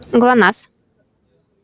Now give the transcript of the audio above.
глонассс